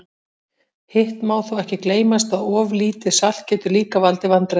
Hitt má þó ekki gleymast að of lítið salt getur líka valdið vandræðum.